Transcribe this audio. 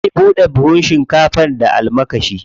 Zai buɗe buhun shinkafar da almakashi.